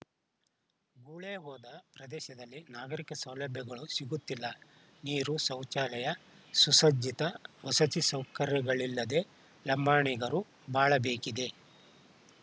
ಗುಳೇ ಹೋದ ಪ್ರದೇಶದಲ್ಲಿ ನಾಗರಿಕ ಸೌಲಭ್ಯಗಳೂ ಸಿಗುತ್ತಿಲ್ಲ ನೀರು ಶೌಚಾಲಯ ಸುಸಜ್ಜಿತ ವಸತಿ ಸೌಕರ್ಯಗಳಿಲ್ಲದೇ ಲಂಬಾಣಿಗರು ಬಾಳಬೇಕಿದೆ